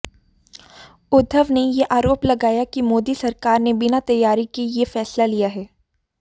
उद्धव ने आरोप लगाया कि मोदी सरकार ने बिना तैयारी के यह फैसला लिया है